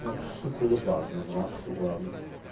Buna xüsusi qulluq lazımdır, buna xüsusi qulluq.